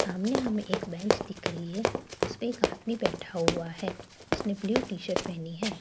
सामने हमें एक बेंच दिख रही है उसपे एक आदमी बैठा हुआ है उसने ब्लू टी शर्ट पहनी है।